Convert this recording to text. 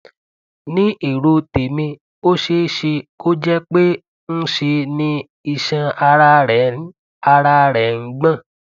ní èrò tèmi ó ṣeé ṣe kó jẹ pé ńṣe ni iṣan ara rẹ ń ara rẹ ń gbọn